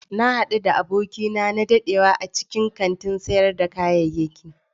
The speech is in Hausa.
Na hadu da abokina na dadewa a cikin kantin sayar da kayayyaki.